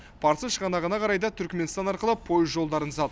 парсы шығанағына қарай да түрікменстан арқылы пойыз жолдарын салып